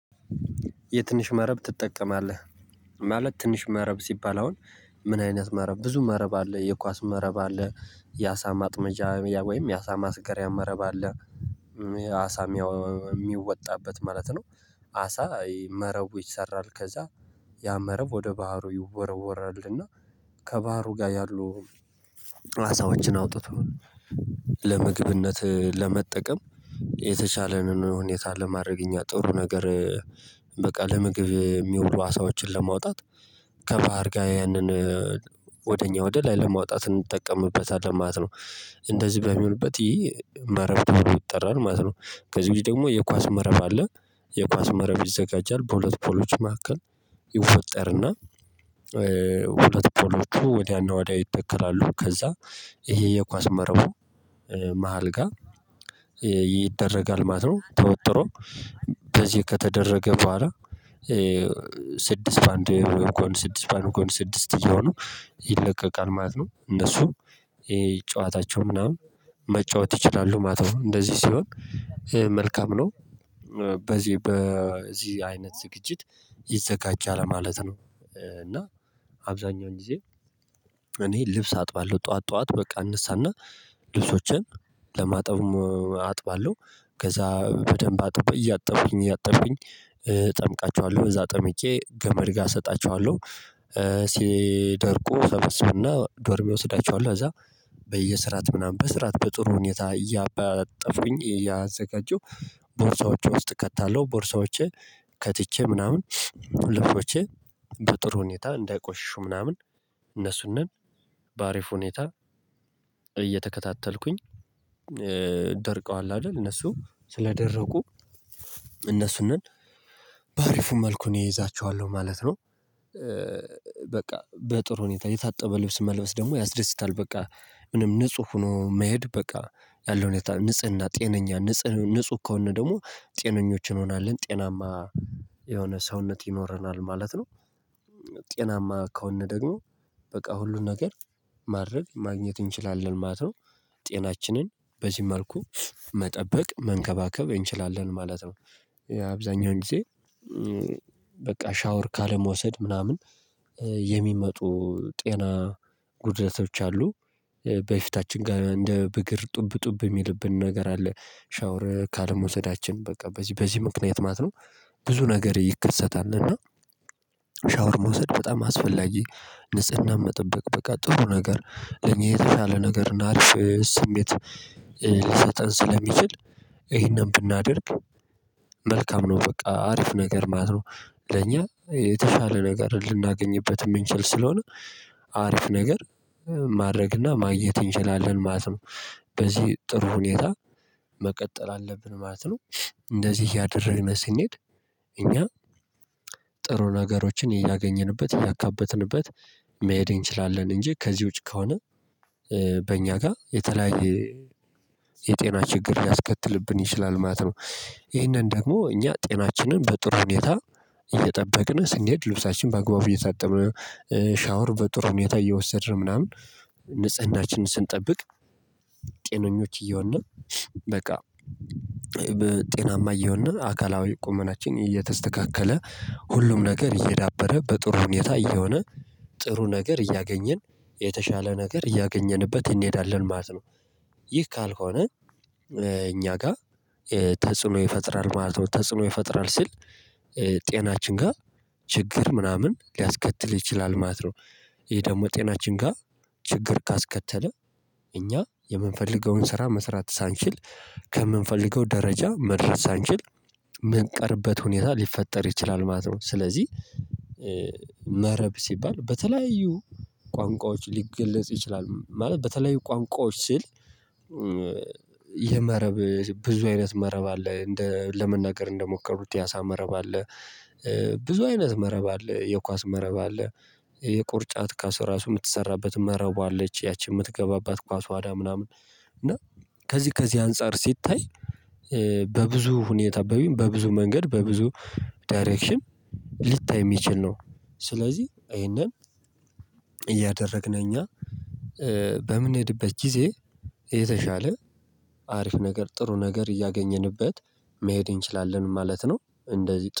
የትንሽ መረብ ትጠቀማለህ? ማለት ትንሽ መረብ ሲባል አሁን ምን አይነት መረብ ብዙ መረብ አለ የኳስ መረብ አለ የአሳ ማጥመጃ ወይም የአሳ ማስገሪያ መረብ አለ አሳ የሚወጣበት ማለት ነው። አሳ መረቡ ይሰራል ከዛ ያ መረብ ወደ ባህሩ ይወረወራል እና ከባህሩ ጋር ያሉ አሳወችን አውጥቶ ለምግብነት ለመጠቀም የተሻለንን ሁኔታ ለማድረግ እኛ ጥሩ ነገር። በቃ ለምግብ የሚውሉ አሳዎችን ለማውጣት ከባህር ጋር ያንን ወደኛ ወደላይ ለማውጣት እንጠቀምበታለን ማለት ነው። እንደዚህ በሚሆንበት ይሄ መረብ ይጠራል ማለት ነው። ከዚህ ግን ደግሞ የኳስ መረብ አለ። የኳስ መረብ ይዘጋጃል በሁለት ፖሎች መካከል ይወጠርና ሁለት ፖሎቹ ወዲያና ወዲያ ይተከራሉ ከዛ ይሄ የኳስ መርህ መሃል ጋር ይደረጋል ማለት ነው። ተወጥሮ በዚህ ከተደረገ በኋላ ስድስት በአንድ ጎን ስድስት በአንድ ጎን ስድስት እየሆነ ይለቀቃል ማለት ነው። እነሱ የጨዋታቸው ምናምን መጫወት ይችላሉ ማተው እንደዚህ ሲሆን መልካም ነው። በዚህ በዚህ አይነት ዝግጅት ይዘጋጃል ማለት ነው። እና አብዛኛው ጊዜ እኔ ልብስ አጥባለሁ ጠዋት ጠዋት በቃ እንሳና ልብሶችን ለማጠብም አጥባለሁ ከዛ በደንብ አጥቤ እያጠበኝ እያጠበኝ እጠምቃችኋለሁ እዛ ጠምቄ ገመድ ጋር እሰጣቸዋለሁ። ሲደርቁ ተመስበና ዶርሜ እወስዳቸዋለሁ እዛ በየስራት ምናምን በስራት በጥሩ ሁኔታ እያበጠፉኝ እያዘጋጀው ቦርሳዎቹ ውስጥ ከታለው ቦርሳዎቼ ከትቼ ምናምን ሁለቶቼ በጥሩ ሁኔታ እንዳይቆሽሹ ምናምን እነሱን ነን በሀሪፍ ሁኔታ እየተከታተልኩኝ ደርቀዋል አይደል እነሱ ስለደረቁ እነሱንም በአሪፉ መልኩን ይይዛችኋለሁ ማለት ነው። በቃ በጥሩ ሁኔታ የታጠበ ልብስ መልበስ ደግሞ ያስደስታል። በቃ ምንም ንጹህ ሆኖ መሄድ በቃ ያለው ንጽህና ጤነኛ ንጽህ ንጹህ ከሆነ ደግሞ ጤነኞችን ሆናለን ጤናማ የሆነ ሰውነት ይኖረናል ማለት ነው። ጤናማ ከሆነ ደግሞ በቃ ሁሉን ነገር ማድረግ ማግኘት እንችላለን ማለት ነው። ጤናችንን በዚህ መልኩ መጠበቅ መንከባከብ እንችላለን ማለት ነው። አብዛኛውን ጊዜ በቃ ሻወር ካለመውሰድ ምናምን የሚመጡ ጤና ጉድለቶች አሉ በፊታችን ጋር እንደ ብግር ጡብ ጡብ የሚልብን ነገር አለ ሻወር ካለመውሰዳችን በቃ በዚህ በዚህ ምክንያት ማት ነው። ብዙ ነገር ይከሰታል እና ሻወር መውሰድ በጣም አስፈላጊ ንጽህና መጠበቅ በቃ ጥሩ ነገር እኔ የተሻለ ነገር እና ስሜት ሊሰጠን ስለሚችል ይሄንን ብናደርግ መልካም ነው። በቃ አሪፍ ነገር ማለት ነው። ለኛ የተሻለ ነገር ልናገኝበት የምንችል ስለሆነ አሪፍ ነገር ማድረግና ማግኘት እንችላለን ማለት ነው። በዚህ ጥሩ ሁኔታ መቀጠል አለብን ማለት ነው። እንደዚህ እያደረረን ሲንሄድ እኛ ጥሩ ነገሮችን እያገኘንበት እያካበትንበት መሄዴ እንችላለን እንጂ ከዚህ ውጪ ከሆነ በእኛ ጋር የተለያየ የጤና ችግር ያስከትልብን ይችላል ማለት ነው። ይሄንን ደግሞ እኛ ጤናችንን በጥሩ ሁኔታ እየጠበቅን ስንሄድ ልብሳችን በአግባቡ እየታጠብን ሻወር በጥሩ ሁኔታ እየወሰድን ምናምን ንጽህናችንን ስንጠብቅ ጤነኞች እየሆንን በቃ ጤናማ እየሆነ አካላዊ ቁመናችን እየተስተካከለ ሁሉም ነገር እየዳበረ በጥሩ ሁኔታ እየሆነ ጥሩ ነገር እያገኘን የተሻለ ነገር እያገኘንበት እንሄዳለን ማለት ነው። ይህ ካልሆነ እኛ ጋር ተጽዕኖ ይፈጥራል ማለት ነው ተጽዕኖ ይፈጥራል ሲል ጤናችን ጋር ችግር ምናምን ሊያስከትል ይችላል ማለት ነው። ይሄ ደግሞ ጤናችን ጋር ችግር ካስከተለ እኛ የምንፈልገውን ስራ መስራት ሳንችል ከምንፈልገው ደረጃ መድረስ ሳንችል ምንቀርበት ሁኔታ ሊፈጠር ይችላል ማለት ነው። ስለዚህ መረብ ሲባል በተለያዩ ቋንቋዎች ሊገለጽ ይችላል ማለት በተለያዩ ቋንቋዎች ስል የመረብ ብዙ አይነት መረብ አለ እንደ ለመናገር እንደሞከሩት የ አሳ መረብ አለ። ብዙ አይነት መረብ አለ የኳስ መረብ አለ። የቅርጫት ኳሱ ራሱ የምትሰራበት መረቧ አለች ያቺ የምትገባባት ኳስ ዋዳ ምናምን እና ከዚህ ከዚህ አንፃር ሲታይ በብዙ ሁኔታ አበቢ በብዙ መንገድ በብዙ ዳይሬክሽን ልታይ የሚችል ነው። ስለዚህ ይሄንን እያደረግን እኛ በምንሄድበት ጊዜ የተሻለ አሪፍ ነገር ጥሩ ነገር እያገኘንበት መሄድ እንችላለን ማለት ነው። እንደዚህ